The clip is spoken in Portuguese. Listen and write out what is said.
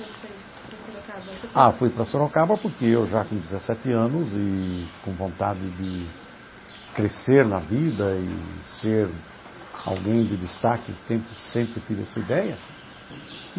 foi para Sorocaba? Ah, fui para Sorocaba porque eu já com dezessete anos eee com vontade de crescer na vida e ser alguém de destaque tem sempre tive essa ideia.